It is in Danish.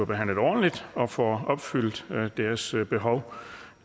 behandlet ordentligt og får opfyldt deres behov